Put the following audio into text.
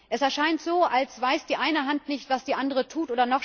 Es erscheint so, als weiß die eine Hand nicht, was die andere tut.